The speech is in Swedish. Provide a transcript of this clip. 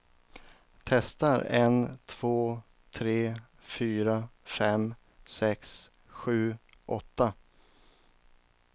Testar en två tre fyra fem sex sju åtta.